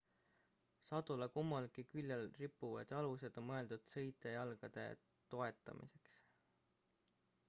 sadula kummalgi küljel rippuvad jalused on mõeldud sõitja jalgade toetamiseks